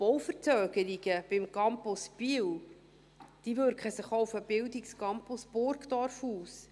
Bauverzögerungen beim Campus Biel wirken sich auch auf den Bildungscampus Burgdorf aus.